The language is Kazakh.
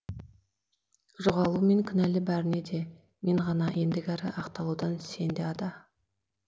жоғалумен кінәлі бәріне де мен ғана ендігәрі ақталудан сен де ада